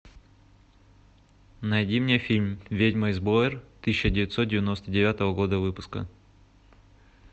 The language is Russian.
найди мне фильм ведьма из блэр тысяча девятьсот девяносто девятого года выпуска